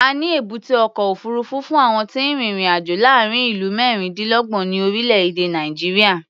A ní èbúté ọkọ̀ òfuurufú fún àwọn tí ń rin ìrìn-àjò láàárín ìlú mẹ́rìndínlọ́gbọ̀n ní orílẹ̀-èdè Nàìjíríà.